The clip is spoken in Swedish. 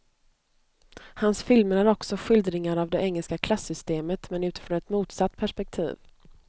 Hans filmer är också skildringar av det engelska klassystemet men utifrån ett motsatt perspektiv.